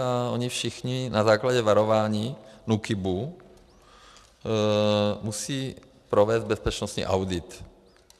A oni všichni, na základě varování NÚKIBu musí provést bezpečnostní audit.